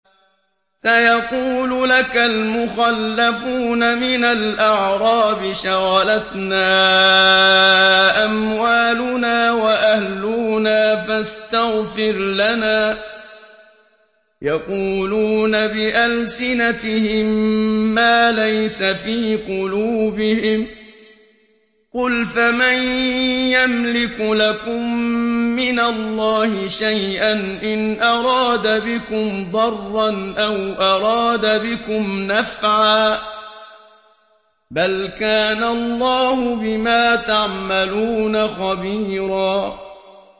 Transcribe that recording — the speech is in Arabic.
سَيَقُولُ لَكَ الْمُخَلَّفُونَ مِنَ الْأَعْرَابِ شَغَلَتْنَا أَمْوَالُنَا وَأَهْلُونَا فَاسْتَغْفِرْ لَنَا ۚ يَقُولُونَ بِأَلْسِنَتِهِم مَّا لَيْسَ فِي قُلُوبِهِمْ ۚ قُلْ فَمَن يَمْلِكُ لَكُم مِّنَ اللَّهِ شَيْئًا إِنْ أَرَادَ بِكُمْ ضَرًّا أَوْ أَرَادَ بِكُمْ نَفْعًا ۚ بَلْ كَانَ اللَّهُ بِمَا تَعْمَلُونَ خَبِيرًا